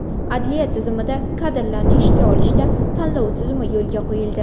Adliya tizimida kadrlarni ishga olishda tanlov tizimi yo‘lga qo‘yildi.